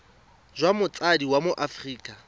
jwa motsadi wa mo aforika